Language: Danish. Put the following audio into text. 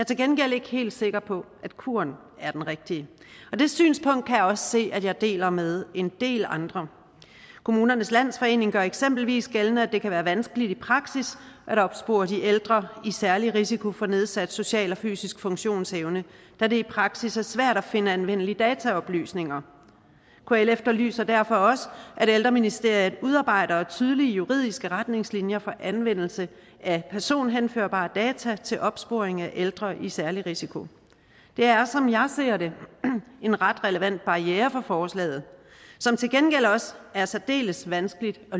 til gengæld ikke helt sikker på at kuren er den rigtige det synspunkt kan jeg også se at jeg deler med en del andre kommunernes landsforening gør eksempelvis gældende at det kan være vanskeligt i praksis at opspore de ældre i særlig risiko for nedsat social og fysisk funktionsevne da det i praksis er svært at finde anvendelige dataoplysninger kl efterlyser derfor også at ældreministeriet udarbejder tydelige juridiske retningslinjer for anvendelse af personhenførbare data til opsporing af ældre i særlig risiko det er som jeg ser det en ret relevant barriere for forslaget som til gengæld også er særdeles vanskelig at